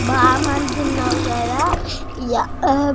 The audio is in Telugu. బామ్మా అంత ఉనువ్ కదా హా బహామ తో.